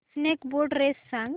snake boat race सांग